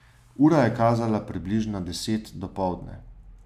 Ura je kazala približno deset dopoldne.